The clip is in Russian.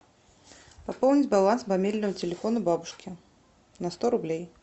пополнить баланс мобильного телефона бабушки на сто рублей